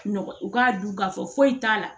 Nɔgɔ u k'a dun k'a fɔ foyi t'a la